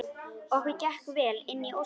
Okkur gekk vel inn ósinn.